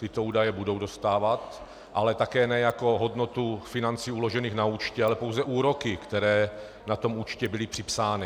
Tyto údaje budou dostávat, ale také ne jako hodnotu financí uložených na účtě, ale pouze úroky, které na tom účtě byly připsány.